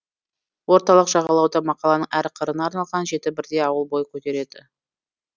орталық жағалауда мақаланың әр қырына арналған жеті бірдей ауыл бой көтереді